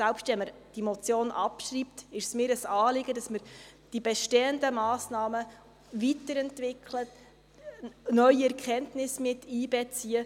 Selbst wenn man diese Motion abschreibt, ist es mir ein Anliegen, dass wir die bestehenden Massnahmen weiterentwickeln, neue Erkenntnisse miteinbeziehen.